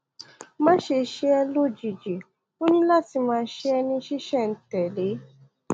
máṣe ṣe é lójijì ó ní láti máa ṣe é ní ṣísẹ̀ntẹ̀lé